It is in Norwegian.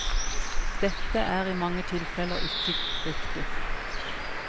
Dette er i mange tilfeller ikke riktig.